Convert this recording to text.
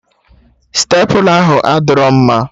Stepla ahụ adịrọ mma